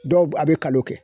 Dɔw be a bi kalo kɛ.